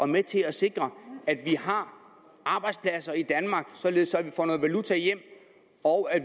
med til at sikre at vi har arbejdspladser i danmark således at vi får noget valuta hjem og